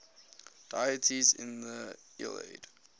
deities in the iliad